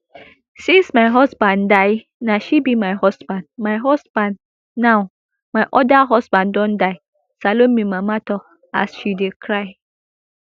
since my husband die na she be my husband my husband now my oda husband don die salome mama tok as she dey cry